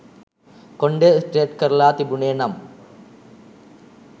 කොණ්ඩය straight කරලා තිබුනේ නම්